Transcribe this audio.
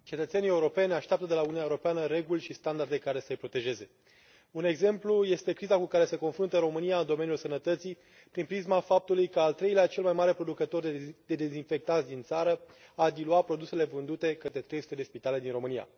Doamnă președintă, cetățenii europeni așteaptă de la Uniunea Europeană reguli și standarde care să îi protejeze. Un exemplu este criza cu care se confruntă România în domeniul sănătății, prin prisma faptului că al treilea cel mai mare producător de dezinfectanți din țară a diluat produsele vândute către 300 de spitale din România.